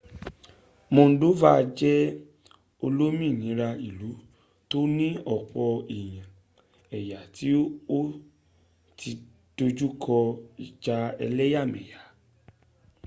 moldova jẹ olómìnira ílu tó ní ọ̀pọ̀ èyà tí o tí dojúkọ ìjà ẹléyàmẹ̀yà